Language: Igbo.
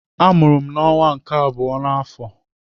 Amụrụ m n'ọnwa nke abụọ n'afọ.